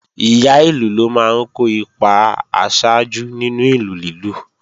Ìyá ìlù ló máa ń kó ipa aṣáájú nínú ìlù lílù